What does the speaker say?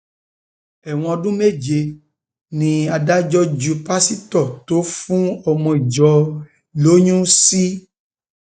ẹwọn ọdún méje um ni adájọ ju pásítọ tó fún ọmọ ìjọ ẹ lóyún um sí